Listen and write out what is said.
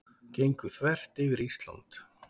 Gengu þvert yfir Ísland